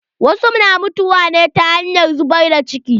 Wasu na mutuwa ne ta hanyar zubar da ciki.